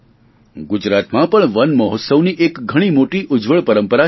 ગુજરાતમાં પણ વન મહોત્સવની એક ઘણી મોટી ઉજ્જવળ પરંપરા છે